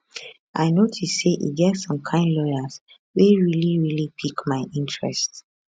i notice say e get some kain lawyers wey really really pick my interest